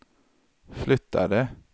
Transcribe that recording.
flyttade